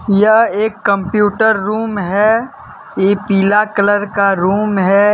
यह एक computer room है ये पीला कलर का रूम है।